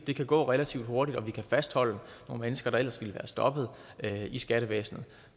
kan gå relativt hurtigt og vi kan fastholde nogle mennesker der ellers ville være stoppet i skattevæsenet